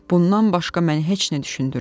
Bundan başqa məni heç nə düşündürmür.